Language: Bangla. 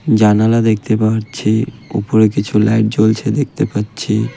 জানালা দেখতে পারছি ওপরে কিছু লাইট জ্বলছে দেখতে পাচ্ছি।